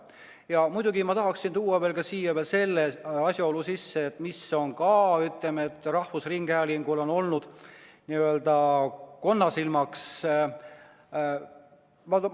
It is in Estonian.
Ja muidugi ma tahaksin tuua siin sisse veel ühe asjaolu, mis on samuti olnud rahvusringhäälingu n-ö konnasilmaks.